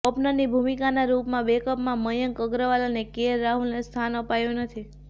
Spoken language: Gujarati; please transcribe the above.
ઓપનરની ભૂમિકાના રુપમાં બેકઅપમાં મયંક અગ્રવાલ અને કેએલ રાહુલને સ્થાન અપાયુ નથી